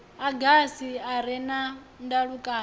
agasi a re na ndalukanyo